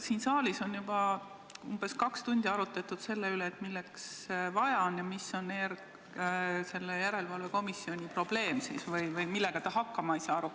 Siin saalis on juba umbes kaks tundi arutatud selle üle, milleks seda vaja on ja mis on selle järelevalvekomisjoni probleem või millega ta hakkama ei saa.